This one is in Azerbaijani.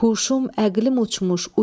Huşum, əqlim uçmuş.